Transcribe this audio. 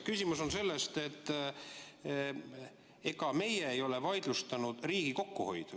Küsimus on selles, et ega meie ei ole vaidlustanud riigi kokkuhoidu.